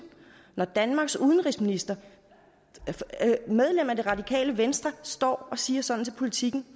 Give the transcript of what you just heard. når danmarks udenrigsminister og medlem af det radikale venstre står og siger sådan til politiken